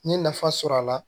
N ye nafa sɔrɔ a la